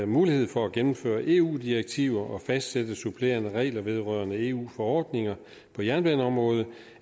mulighed for at gennemføre eu direktiver og fastsætte supplerende regler vedrørende eu forordninger på jernbaneområdet